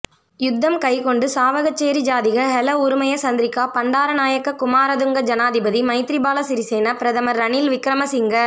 யுத்தம் கைக்குண்டு சாவகச்சேரி ஜாதிக ஹெல உறுமய சந்திரிகா பண்டாரநாயக்க குமாரதுங்க ஜனாதிபதி மைத்திரிபால சிறிசேன பிரதமர் ரணில் விக்கிரமசிங்க